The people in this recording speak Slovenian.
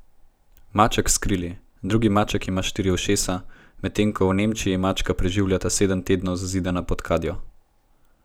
Maček s krili, drugi maček ima štiri ušesa, medtem ko je v Nemčiji mačka preživela sedem tednov zazidana pod kadjo.